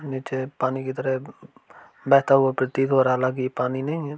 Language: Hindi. निचे पानी की तरह बहता हुवा प्रतीत हो रहा हला की ये पानी नही हैं।